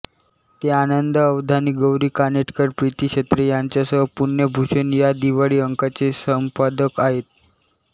ते आनंद अवधानी गौरी कानेटकर प्रीती छत्रे यांच्यासह पुण्यभूषण या दिवाळी अंकाचे संपादक आहेत